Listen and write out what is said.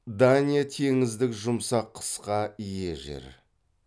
дания теңіздік жұмсақ қысқа ие жер